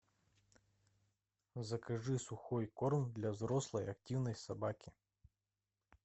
закажи сухой корм для взрослой активной собаки